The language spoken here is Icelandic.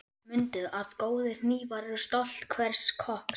Mundu að góðir hnífar eru stolt hvers kokks.